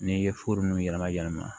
N'i ye foro nunnu yɛlɛma yɛlɛma